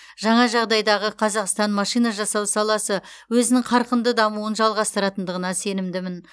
жаңа жағдайдағы қазақстан машина жасау саласы өзінің қарқынды дамуын жалғастыратындығына сенімдімін